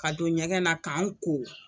Ka don ɲɛgɛn na k'an ko